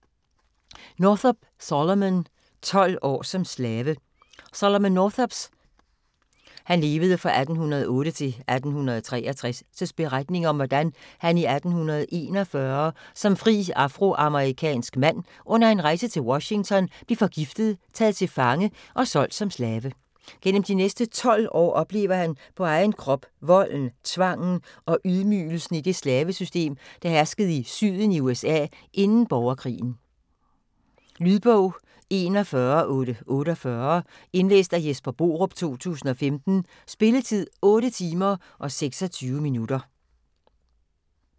Northup, Solomon: Tolv år som slave Solomon Northups (1808-1863) beretning om hvordan han i 1841 som fri afroamerikansk mand under en rejse til Washington bliver forgiftet, taget til fange og solgt som slave. Gennem de næste 12 år oplever han på egen krop volden, tvangen og ydmygelsen i det slavesystem, der herskede i Syden i USA inden borgerkrigen. Lydbog 41848 Indlæst af Jesper Borup, 2015. Spilletid: 8 timer, 26 minutter.